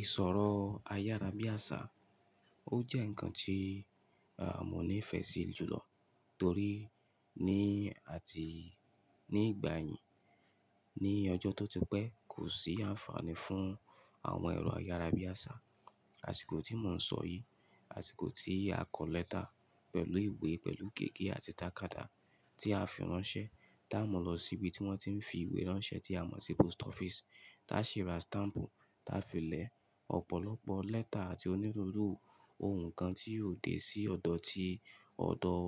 Ìsọ̀rọ̀ ayárabíàṣá o jẹ́ ǹnkan tí, a, mo ní ìfẹ́ sí jùlọ torí ní àti, ni ìgbà yìí ní ọjọ́ tó ti pẹ́ kò sí àǹfààní fún àwọn ẹ̀rọ ayárabíàṣá, àsìkò tíì mọ̀ ọ́n sọ yí, àsìkò ti a kọ lẹ́tà pẹ̀lú ìwé, pẹ̀lú gègé àti tàkádà tí a fi ránṣẹ́, dá'mọ̀ lọ síbi tí wọ́n ti ń fi ìwé ránṣẹ́ tí a mọ̀ sí post office, táa sì ra stamp, táa fi lẹ ọ̀pọ̀lọpọ̀ lẹ́tà àti onírúurú ohun kan tí yóò dé sí ọ̀dọ̀ ti, ọ̀dọ̀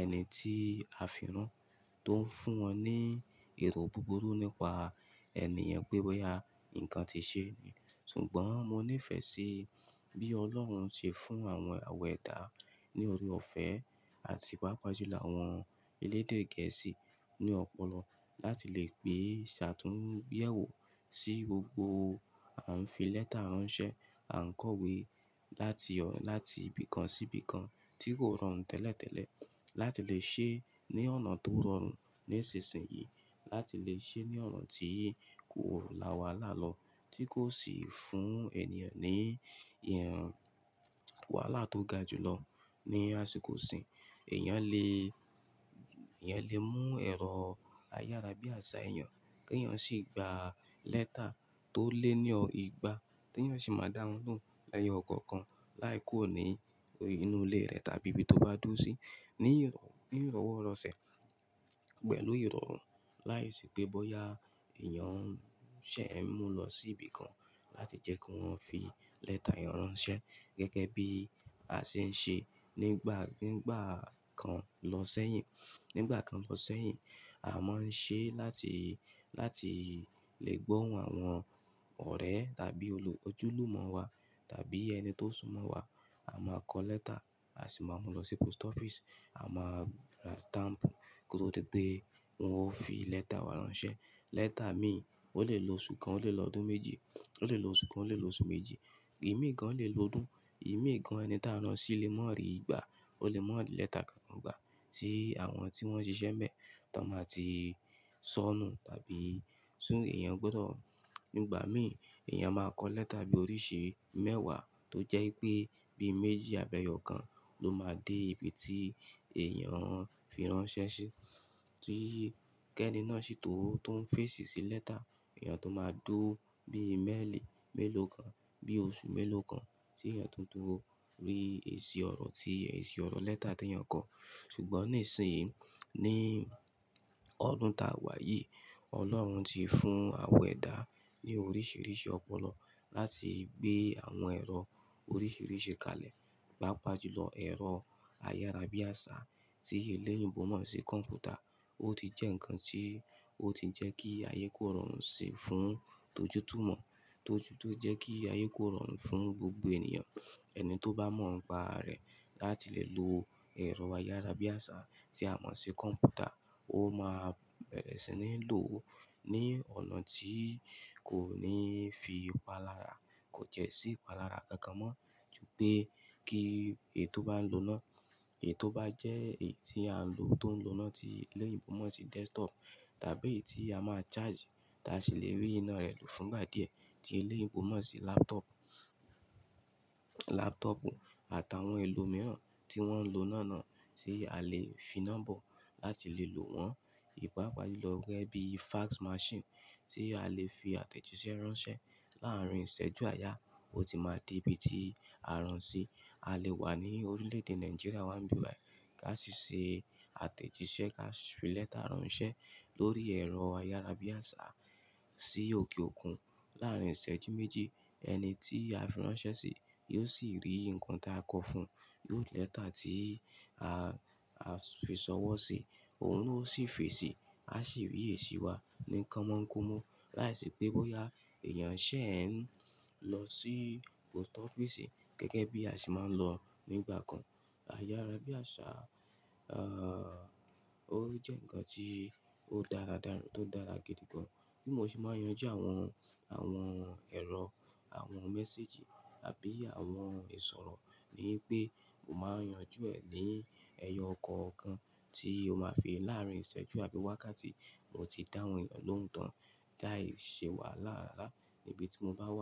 ẹni tí a fi rán tó ń fún wọn ní èrò búburú nípa ẹni yẹn n pé bóyá ǹnkan ti ṣe. Ṣùgbọ́n mo ní ìfẹ́ sí bí Ọlọ́run ṣe fún àwọn àwẹ̀dá ní ọre ọ̀fẹ́ àti pàápàá jùlọ àwọn elédè gẹ̀ẹ́sì ní ọpọlọ láti lè pé ṣe àtúnyẹwò sí gbogbo a ń fi lẹ́tà ránṣẹ́, à ń kọ̀wé láti o, láti ibìkan sí ibìkan tí kò rọrùn tẹ́lẹ̀tẹ́lẹ̀ láti lè ṣe é ní ọ̀nà tó rọrùn ní ìsinsìnyí, láti lè ṣe é ní ọ̀nà tí kò rùn láwàlàá lọ tí kò sì fún ènìyàn ní ìhàn wàhálà tó ga jùlọ ní àsìkò ìsìn. Èèyàn lè, èèyàn lè mú ẹ̀rọ ayárabíàṣá èèyàn, kí èèyàn sì gba lẹ́tà tó lé ní ọ ìgbà, tí èèyàn sì máa dá wọn lóhùn ẹyọ kọ̀ọ̀kan láì kú òní inú ilé rẹ̀ tàbí ibi tó bá dúró sí ní, ni ìrọ́wọ́rọ̀sẹ̀ pẹ̀lú ìrọ̀rùn láìsí pé bóyá èèyàn ṣé ń mú ọ lọ sí ibìkan láti jẹ́ kí wọ́n fi lẹ́tà yẹn ránṣẹ́ gẹ́gẹ́ bí a ṣe ń ṣe nígbà, ngba kan lọ sẹ́yìn. Nígbà kan lọ sẹ́yìn, a máa ń ṣe láti, láti lè gbọ́ ohun àwọn ọ̀rẹ́ tàbí olo, ojúlùmọ̀ wa tàbí ẹni tó súnmọ́ wa. A máa kọ lẹ́tà, a sì máa mú lọ sí post office. A máa ra stamp kó tó di pé wọn ó fi lẹ́tà wa ránṣẹ́. Lẹ́tà mi o lè lo oṣù kan, o lè lo ọdún méjì, o lè lo oṣù kan, o lè lo oṣù méjì, ìmíìgan o lè lo ọdún, ìmíìgan ẹni táa rán ṣí lè mọ̀ ọ́ rí ìgbà, o lè mọ ri lẹ́tà kankan gbà tí àwọn tí wọ́n ṣiṣẹ́ nbẹ́ tán máa ti sọnù. Tàbí tun èèyàn gbọ́dọ̀ nígbà mi èèyàn máa kọ lẹ́tà bí oríṣi mẹ́wàá tó jẹ́ i pé bí i méjì àbí ẹ́yọ̀ọ́kan ló máa dé ibi tí èèyàn fi ránṣẹ́ sí. Tí kẹ́ ẹ́ni náà sì to, tó ń fèsì sí lẹ́tà, èèyàn tó máa dúró bí i, melii, mélòó kan, bí i oṣù mélòó kan tí èèyàn tó dúró rí èsì ọ̀rọ̀ tí èsì ọ̀rọ̀ lẹ́tà tí èèyàn kọ̀. Ṣùgbọ́n ní ìsinsìnyí ní ọdún ta wà yìí, Ọlọ́run ti fún àwẹ̀dá ní oríṣiríṣi ọpọlọ láti gbé àwọn ẹ̀rọ oríṣiríṣi kalẹ̀, pàápàá jùlọ ẹ̀rọ ayárabíàṣá tí eléyìnbo mo sí kọ̀mpútà. Ó ti jẹ́ ǹnkan tí ó ti jẹ́ kí ayé kó rọrùn síi fún tójútúmọ̀, tó tuntun jẹ́ kí ayé kó rọrùn fún gbogbo ènìyàn. Ẹni tó bá mọ̀ ọ́n pà rẹ̀ láti lè lo ẹ̀rọ ayárabíàṣá tí a mọ̀ sí kọ̀mpútà, ó máa bẹ̀rẹ̀ sí ní lò ó ní ọ̀nà tí kò ní fi pa lára, kò tiẹ́ sí ipa lára kankan mọ́. Ju pé kí èyí tó báa ń lò náà, èyí tó bá jẹ́ èyí tí a ń lò tó ń lo náà tí eléyìíbo mọ̀ sí desktop tàbí èyí tí a máa charge táa sì lè rí iná rẹ̀ lò fún ìgbà díẹ̀ tí eléyìíbo mọ̀ sí laptop, laptop àtàwọn èlò mìíràn tí wọ́n ń lò náà náà tí a lè fi nọ́mbọ̀ láti lè lo wọ́n. Pàápàá jùlọ gẹ́gẹ́ bí fax machine tí a lè fi àtẹ̀jíṣẹ́ ránṣẹ́ láàárín ìṣẹ́jú àyà, ó ti máa dé ibi tí a rán ṣí. A lè wà ní orílẹ̀èdè Nàìjíríà wá ń bi báyìí, ká sì ṣe àtẹ̀jíṣẹ́ ká sì fi lẹ́tà ránṣẹ́ lórí ẹ̀rọ ayárabíàṣá sí òkè òkun láàárín ìṣẹ́jú méjì, ẹni tí a fi ránṣẹ́ sí yóò sì rí nǹkan tí a kọ fún, yóò rí lẹ́tà tí a a fi sọwọ́ si, òun náà ó sì fèsì, a sì rí èsì wa ní kan mọ́ńgómó láìsí pé bóyá èèyàn ṣé ń lọ sí post office e gẹ́gẹ́ bí a sì máa ń lọ nígbà kan. Ayárabíàṣá a jẹ́ ǹnkan tí ó dára dára tó dára gidi gan. Bí mo ṣe máa yanjú àwọn, àwọn ẹ̀rọ, àwọn mẹ́séjì tàbí àwọn ìsọ̀rọ̀ ni pé mo máa ń yanjú ẹ̀ ní ẹyọọkọ̀kan tí ó máa fi láàárín ìṣẹ́jú àbí wákàtí bó ti dáhùn èèyàn lóhùn tán láìṣe wàhálà rárá níbi tí mo bá wà.